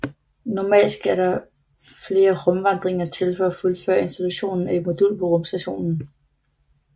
Normalt skal der flere rumvandringer til for at fuldføre installationen at et modul på rumstationen